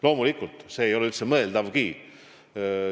Loomulikult, see ei olegi üldse mõeldav.